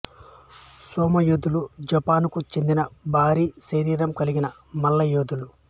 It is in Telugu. సుమో యోధులు జపాన్కు చెందిన భారీ శరీరం కలిగిన మల్ల యోధులు